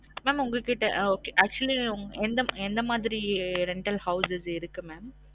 mam உங்க கிட்ட ah okay actually எந்த ~எந்த மாதிரி rental houses இருக்கு? mam